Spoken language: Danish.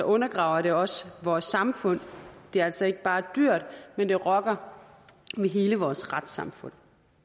undergraver det også vores samfund det er altså ikke bare dyrt men det rokker ved hele vores retssamfund